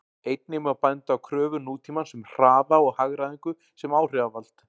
Einnig má benda á kröfur nútímans um hraða og hagræðingu sem áhrifavald.